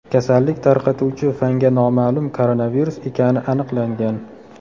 Kasallik tarqatuvchi fanga noma’lum koronavirus ekani aniqlangan.